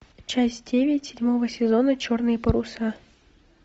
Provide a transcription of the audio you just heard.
часть девять седьмого сезона черные паруса